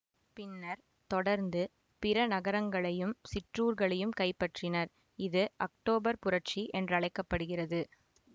பின்னர் தொடர்ந்து பிற நகரங்களையும் சிற்றூர்களையும் கைப்பற்றினர் இது அக்டோபர் புரட்சி என்றழைக்கப்படுகிறது